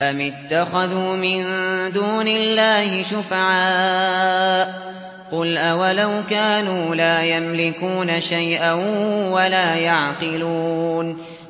أَمِ اتَّخَذُوا مِن دُونِ اللَّهِ شُفَعَاءَ ۚ قُلْ أَوَلَوْ كَانُوا لَا يَمْلِكُونَ شَيْئًا وَلَا يَعْقِلُونَ